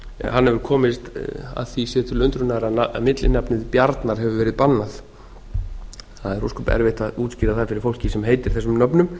hann hefur komist að því sér til undrunar að millinafnið bjarnar hefur verið bannað það er ósköp erfitt að útskýra það fyrir fólki sem heitir þessum nöfnum